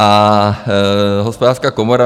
A Hospodářská komora?